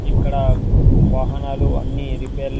ఇక్కడ వహనాలు అన్ని రిపేర్--